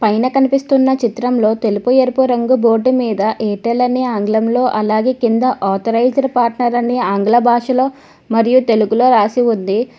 పైన కనిపిస్తున్న చిత్రం లో తెలుపు ఎరువు రంగు బోర్డు మీద ఎయిర్టెల్ అని ఆంగ్లం లో అలాగే కింద ఆథరైజ్డ్ పార్టనర్ అని ఆంగ్ల బాషలో మరియు తెలుగు లో రాసి ఉంది.